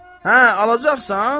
Hə, alacaqsan?